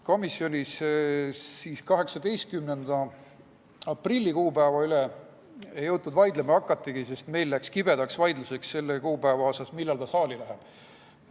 Komisjonis 18. aprilli kuupäeva üle ei jõutud vaidlema hakatagi, sest meil läks kibedaks vaidluseks selle kuupäeva üle, millal eelnõu saali läheb.